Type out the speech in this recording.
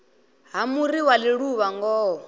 ha muri wa ḽiluvha ngoho